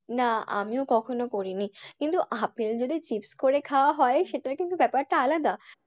না আমিও কখনো করিনি কিন্তু আপেল যদি চিপস করে খাওয়া হয় সেটা কিন্তু ব্যাপারটা আলাদা।